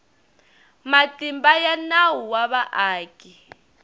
matimba ya nawu wa vaaki